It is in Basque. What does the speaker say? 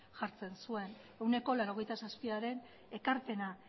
jartzen zuen ehuneko laurogeita zazpiaren ekarpena